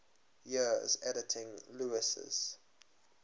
years editing lewes's